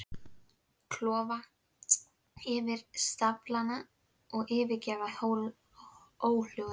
Klofa yfir staflana og yfirgefa óhljóðin.